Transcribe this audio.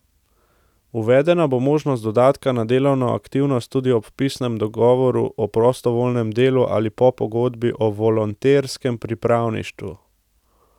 Uvedena bo možnost dodatka na delovno aktivnost tudi ob pisnem dogovoru o prostovoljnem delu ali pa pogodbi o volonterskem pripravništvu.